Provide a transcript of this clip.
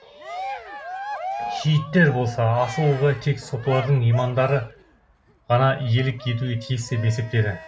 шииттер болса асыл ойға тек сопылардың имамдары ғана иелік етуге тиіс деп есептеді